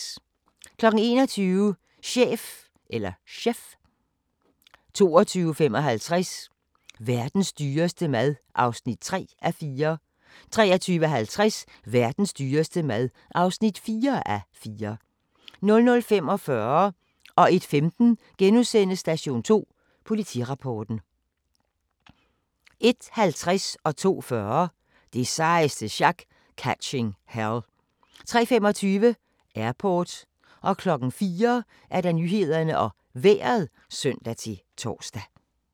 21:00: Chef 22:55: Verdens dyreste mad (3:4) 23:50: Verdens dyreste mad (4:4) 00:45: Station 2: Politirapporten * 01:15: Station 2: Politirapporten * 01:50: Det sejeste sjak - Catching Hell 02:40: Det sejeste sjak - Catching Hell 03:25: Airport 04:00: Nyhederne og Vejret (søn-tor)